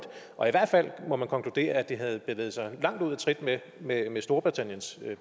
og i hvert fald må man konkludere at det havde bevæget sig langt ud af trit med storbritanniens